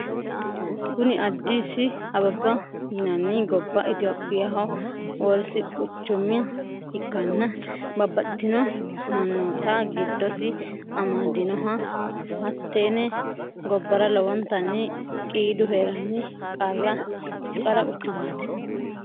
Kuni addisi abeba yinani goba itiyophiyaho wars quchuma ikana babatitino manota gidosi amadinoho Hatene gobara lowonitani qidu herani qara quchumati